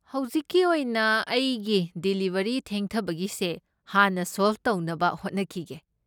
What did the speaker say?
ꯍꯧꯖꯤꯛꯀꯤ ꯑꯣꯏꯅ, ꯑꯩꯒꯤ ꯗꯤꯂꯤꯕꯔꯤ ꯊꯦꯡꯊꯕꯒꯤꯁꯦ ꯍꯥꯟꯅ ꯁꯣꯜꯚ ꯇꯧꯅꯕ ꯍꯣꯠꯅꯈꯤꯒꯦ꯫